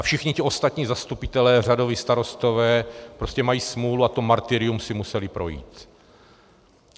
A všichni ti ostatní zastupitelé, řadoví starostové, prostě mají smůlu a to martyrium si museli projít.